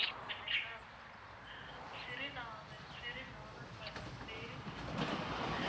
சிறுநாவல், சிறுநாவற்பழம், பேரிச்சம்பழம்